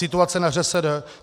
Situace na ŘSD?